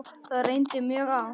Það reyndi mjög á.